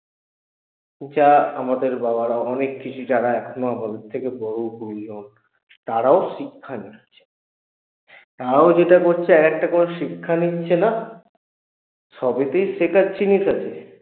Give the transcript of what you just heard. যা আমাদের বাবারাও অনেককিছু যারা এখনো আমাদের থেকে বড় গুরুজন তারাও শিক্ষা নিচ্ছে তারাও যেটা করছে এক একটা করে শিক্ষা নিচ্ছে না? সবইতেই শেখার জিনিস আছে